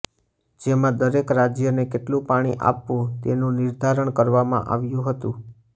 જેમાં દરેક રાજ્યને કેટલું પાણી આપવું તેનું નિર્ધારણ કરવામાં આવ્યું હતું